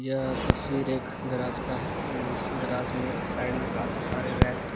यह तस्वीर एक गराज का है जिस गराज में साइड में काफी सारे रैक है।